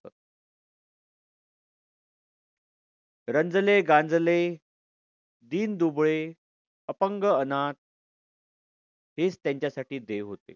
रंजले, गांजले, दीन दुबळे, अपंग अनाथ हेच त्यांच्यासाठी देव होते.